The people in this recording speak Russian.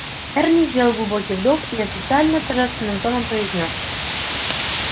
эрни сделал глубокий вдох и официально торжественным тоном произнёс